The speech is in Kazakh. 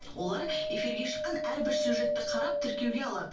олар эфирге шыққан әрбір сюжетті қарап тіркеуге алады